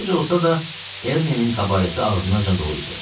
Gec olsa da, Ernenin kabaresi ağzınacan dolu idi.